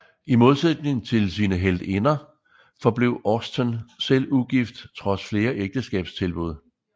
I modsætning til sine heltinder forblev Austen selv ugift trods flere ægteskabstilbud